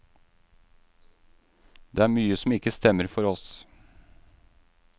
Det er mye som ikke stemmer for oss.